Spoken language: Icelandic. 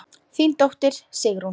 Þín dóttir, Sigrún.